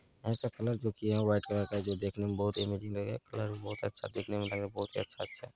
ऐसा कलर जो किया है व्हाइट कलर का जो देखने मे बहुत ही अमेजिंग लगेगा कलर बहुत अच्छा देखने मे लगेगा बहुत ही अच्छा-अच्छा।